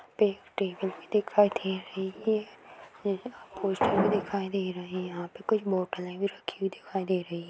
यहाँ पे एक टेबल भी दिखाई दे रही है पोस्टर भी दिखाई दे रहे हैं यहाँ पे कुछ बोटले भी रखी हुई दिखाई दे रही हैं।